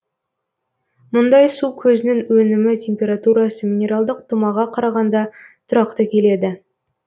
мұндай су көзінің өнімі температурасы минералдық тұмаға қарағанда тұрақты келеді